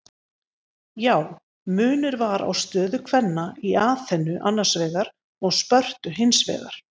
Já, munur var á stöðu kvenna í Aþenu annars vegar og Spörtu hins vegar.